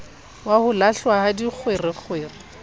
wa ho lahlwa ha dikgwerekgwere